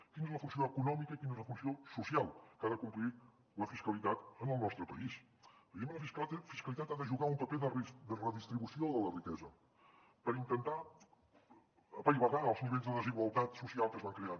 quina és la funció econòmica i quina és la funció social que ha de complir la fiscalitat en el nostre país evidentment la fiscalitat ha de jugar un paper de redistribució de la riquesa per intentar apaivagar els nivells de desigualtat social que es van creant